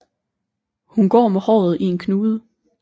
Hun går med håret i en knude